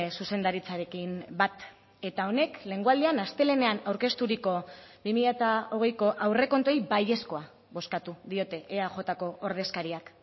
zuzendaritzarekin bat eta honek lehengo aldian astelehenean aurkezturiko bi mila hogeiko aurrekontuei baiezkoa bozkatu diote eajko ordezkariak